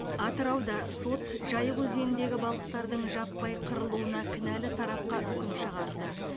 атырауда сот жайық өзеніндегі балықтардың жаппай қырылуына кінәлі тарапқа үкім шығарды